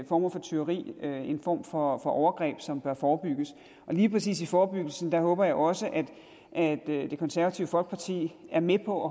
former for tyveri en form for overgreb som bør forebygges og lige præcis i forebyggelsen håber jeg også at det konservative folkeparti er med på